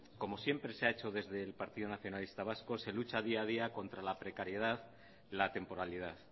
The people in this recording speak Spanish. como siempre se ha hecho desde el partido nacionalista vasco se lucha día a día contra la precariedad y la temporalidad